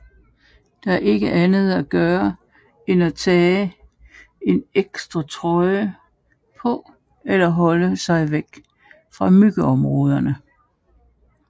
Der er ikke andet at gøre end at tage en ekstra trøje på eller holde sig væk fra myggeområder